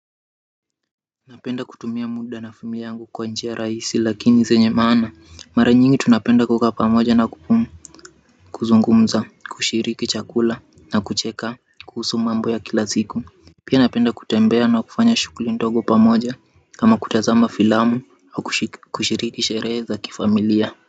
Napenda kutumia muda na simu yangu kwa njia rahisi lakini zenye maana mara nyingi tunapenda kukaa pamoja na kuzungumza kushiriki chakula na kucheka kuhusu mambo ya kila siku. Pia napenda kutembea na kufanya shuguli ndogo pamoja kama kutazama filamu au kushiriki sherehe za kifamilia.